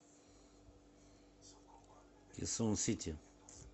кесон сити